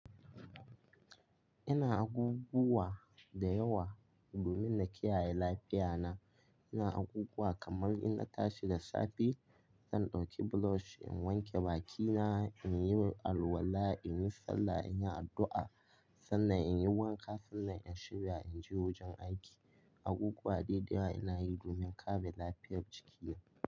Ina abubuwa da yawa domin na kiyaye lafiya na. Ina abubuwa kamar inna tashi da safe, zan ɗauki brush in wanke bakina, in yi alwala, in yi sallah, in yi addu'a, sannan in yi wanka, sannan in shirya in je wajen aiki. Abubuwa dai da yawa ina yi domin kare lafiyar jiki.